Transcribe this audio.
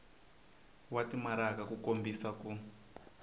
wa timaraka ku kombisa ku